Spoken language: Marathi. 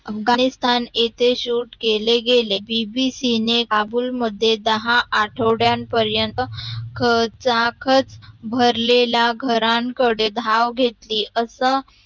अफगाणीस्थाण येथे शूट केले गेले B. B. C काबुल मध्ये दहा आठोड्या पर्यन्त खचाखच भरलेल्या घराणकडे धाव घेतली अस